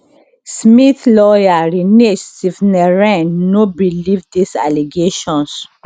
smith lawyer rinesh sivnarain no believe dis allegations